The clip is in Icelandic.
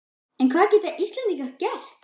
En hvað geta Íslendingar gert?